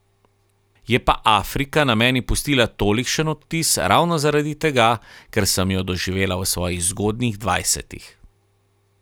Je pa Afrika na meni pustila tolikšen odtis ravno zaradi tega, ker sem jo doživela v svojih zgodnjih dvajsetih.